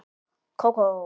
Kókó?